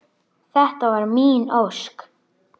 . þetta var mín ósk.